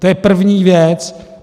To je první věc.